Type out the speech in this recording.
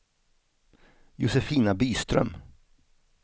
Josefina Byström